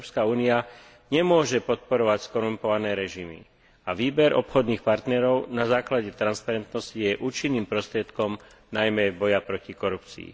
Európska únia nemôže podporovať skorumpované režimy a výber obchodných partnerov na základe transparentnosti je účinným prostriedkom najmä boja proti korupcii.